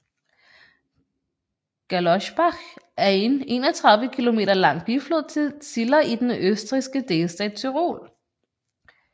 Gerlosbach er en 31 km lang biflod til Ziller i den østrigske delstat Tyrol